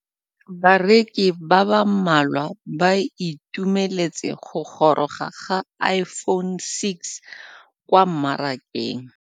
Bareki ba ba malwa ba ituemeletse go gôrôga ga Iphone6 kwa mmarakeng.